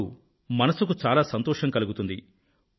అప్పుడు మనసుకు చాలా సంతోషం కలుగుతుంది